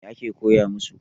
Mai ake koya masu?